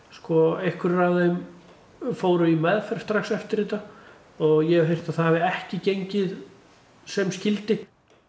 einhverjir af þeim fóru í meðferð strax eftir þetta og ég heyrt að það hafi ekki gengið sem skyldi